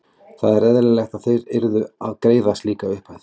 Það er eðlilegt að þeir yrðu að greiða slíka upphæð.